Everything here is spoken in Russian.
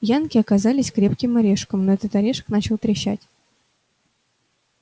янки оказались крепким орешком но этот орешек начинал трещать